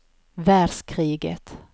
världskriget